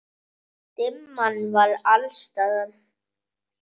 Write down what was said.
Dimman var alls staðar.